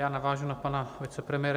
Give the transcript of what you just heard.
Já navážu na pana vicepremiéra.